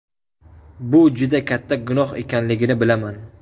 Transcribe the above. Bu juda katta gunoh ekanligini bilaman!